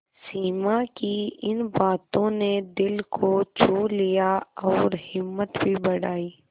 सिमा की इन बातों ने दिल को छू लिया और हिम्मत भी बढ़ाई